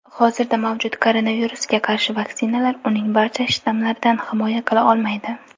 Hozirda mavjud koronavirusga qarshi vaksinalar uning barcha shtammlaridan himoya qila olmaydi.